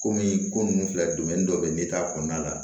Komi ko nunnu filɛ dɔ bɛ yen n'i t'a kɔnɔna la